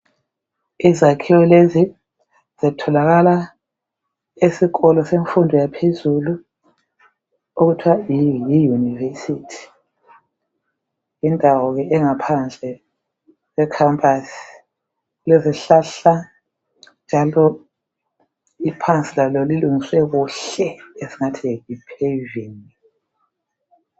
Izakhiwo lezi zitholakala esikolo semfundo yaphezulu okuthiwa yi university , yindawo engaphandle e campus lezihlahla , njalo iphansi lalo lilungiswe kahle esingathi Yi paving